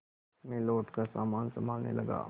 मैं लौटकर सामान सँभालने लगा